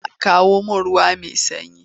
Eh a kawo mun ruwa mai sanyi.